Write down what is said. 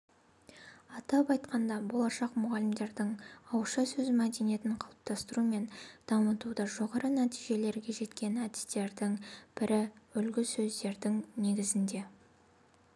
атап айтқанда болашақ мұғалімдердің ауызша сөз мәдениетін қалыптастыру мен дамытуда жоғары нәтижелерге жеткен әдістердің бірі үлгісөздердің негізінде